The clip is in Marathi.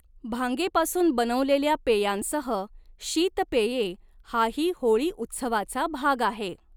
भांगेपासून बनवलेल्या पेयांसह शीतपेये हाही होळी उत्सवाचा भाग आहे.